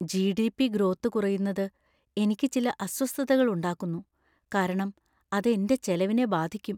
GDP. Growth കുറയുന്നത് എനിക്ക് ചില അസ്വസ്ഥതകൾ ഉണ്ടാക്കുന്നു, കാരണം അത് എന്‍റെ ചെലവിനെ ബാധിക്കും.